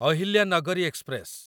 Ahilyanagari express